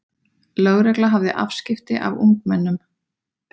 Lögregla hafði afskipti af ungmennum